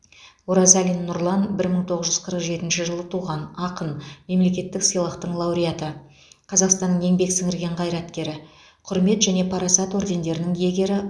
оразалин нұрлан бір мың тоғыз жүз қырық жетінші жылы туған ақын мемлекеттік сыйлықтың лауреаты қазақстанның еңбек сіңірген қайраткері құрмет және парасат ордендерінің иегері